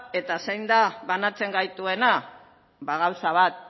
eta zein da banatzen gaituena ba gauza bat